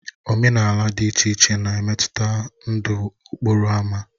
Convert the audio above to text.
Omenala dị iche iche na-emetụta ndụ okporo ámá.